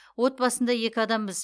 отбасында екі адамбыз